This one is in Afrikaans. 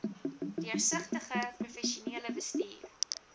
deursigtige professionele bestuur